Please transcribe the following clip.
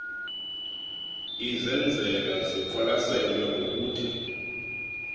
izenzela ziqwalaselwe ngokuthe